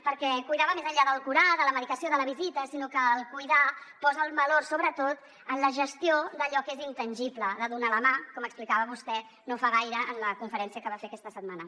perquè el cuidar va més enllà del curar de la medicació de la visita el cuidar posa el valor sobretot en la gestió d’allò que és intangible de donar la mà com explicava vostè no fa gaire en la conferència que va fer aquesta setmana